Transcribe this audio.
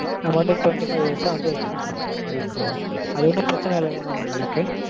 நம்ம வந்து twenty-five years ஆ வந்து extend பண்ணிக்கற மாதிரி இருக்கும் mam. அது ஒன்னும் பிரச்சினை இல்லல mam உங்களுக்கு?